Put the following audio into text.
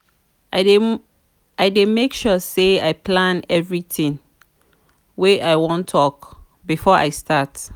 i dey make sure sey i plan everytin wey i wan tok before i start.